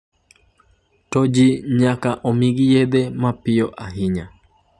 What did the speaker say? "To ji nyaka omigi yedhe mapiyo ahinya."""